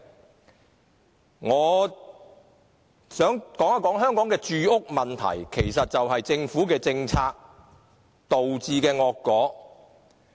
此外，我想談談香港的住屋問題，這其實是政府政策導致的惡果。